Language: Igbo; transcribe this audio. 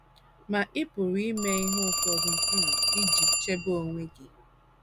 Ma ị pụrụ ime ihe ụfọdụ um iji chebe onwe gị.